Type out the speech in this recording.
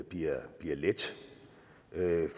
bliver let